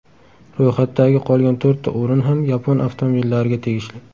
Ro‘yxatdagi qolgan to‘rtta o‘rin ham yapon avtomobillariga tegishli.